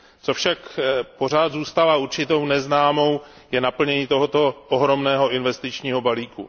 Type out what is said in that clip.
Co však pořád zůstává určitou neznámou, to je naplnění tohoto ohromného investičního balíku.